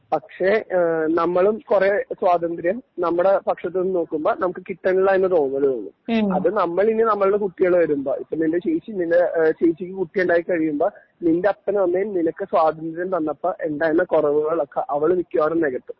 പക്ഷേ നമ്മളും കുറെ സ്വാതന്ത്ര്യം നമ്മുടെ പക്ഷത്തു നിന്ന് നോക്കുമ്പോ നമുക്ക് കിട്ടണില്ല എന്ന തോന്നല് തോന്നും അത് നമ്മളിനി നമ്മളുടെ കുട്ടികൾ വരുമ്പോ ഇപ്പോ നിന്റെ ചേച്ചി നിന്റെ ചേച്ചിക്ക് കുട്ടി ഉണ്ടായി കഴിയുമ്പോ നിന്റെ അപ്പനും അമ്മയും നിനക്ക് സ്വാതന്ത്ര്യം തന്നപ്പോ ഉണ്ടായിരുന്ന കുറവുകള് ഒക്കെ അവള് മിക്കവാറും നികത്തും